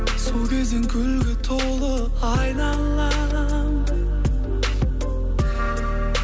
сол кезден гүлге толы айналам